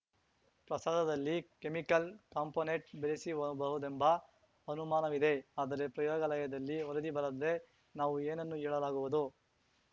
ಪ್ರಸಾದದಲ್ಲಿ chemical component ಬೆರೆಸಿರಬಹುದೆಂಬ ಅನುಮಾನವಿದೆ ಆದರೆ ಪ್ರಯೋಗಾಲಯದಲ್ಲಿ ವರದಿ ಬರದೆ ನಾವು ಏನನ್ನು ಹೇಳಲಾಗುವುದು